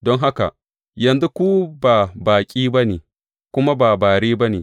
Don haka, yanzu ku ba baƙi ba ne, ku kuma ba bare ba ne.